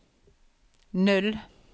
null